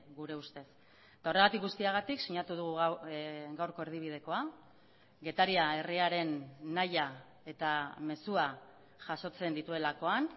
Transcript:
gure ustez eta horregatik guztiagatik sinatu dugu gaurko erdibidekoa getaria herriaren nahia eta mezua jasotzen dituelakoan